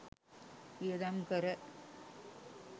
වියදම් කර